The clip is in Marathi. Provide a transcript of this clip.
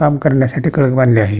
काम करण्यासाठी कळक बांधलेले आहेत.